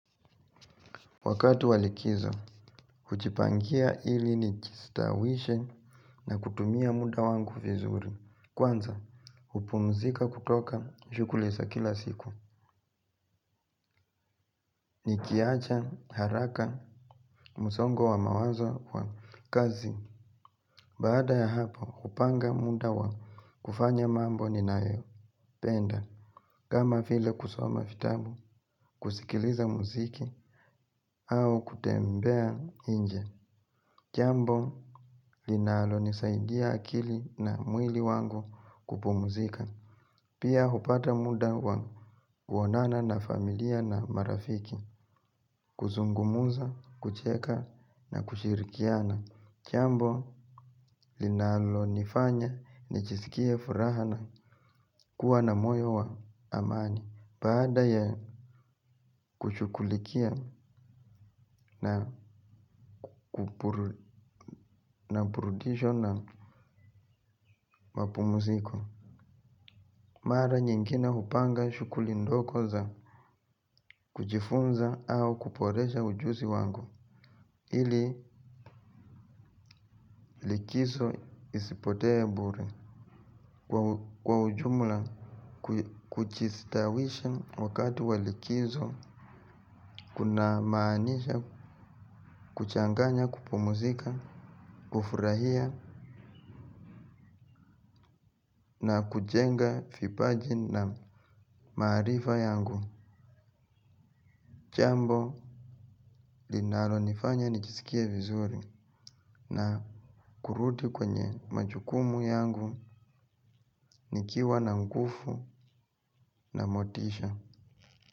Wakati wa likizo, kujipangia ili ni jistawishe na kutumia muda wangu vizuri. Kwanza, hupumzika kutoka, shughuli za kila siku. Nikiacha, haraka, musongo wa mawazo wa kazi. Baada ya hapo, hupanga muda wa kufanya mambo ni nayo. Penda, kama vile kusoma vitabu, kusikiliza muziki, au kutembea inje jambo linalo nisaidia akili na mwili wangu kupumuzika. Pia hupata muda wa kuonana na familia na marafiki. Kuzungumuza, kucheka na kushirikiana. Jambo linalo nifanya nijisikie furaha na kuwa na moyo wa amani. Baada ya kushughulikia na purudisho na mapumziko mara nyingine hupanga shughulindogo za kuchifunza au kuporesha ujuzi wangu. Ili likizo isipotee bure. Kwa ujumula kujistawisha wakati wa likizo kuna maanisha kuchanganya kupumuzika, kufurahia na kujenga vipaji na maarifa yangu. Jambo linalo nifanya nijisikie vizuri na kurudi kwenye majukumu yangu nikiwa na nguvu na motisha.